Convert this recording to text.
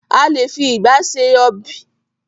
A lé fi ìgba ṣe ọb|.